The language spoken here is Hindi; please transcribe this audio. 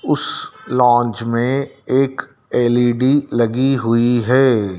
उस लॉज में एक एल_इ_डी लगी हुई है।